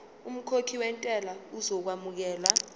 umkhokhi wentela uzokwamukelwa